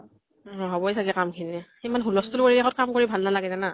নহʼব য়ে চাগে কাম খিনি । ইমান হূলস্তুল পৰিৱেশ ত কাম কৰি ভাল নালাগে জানা ?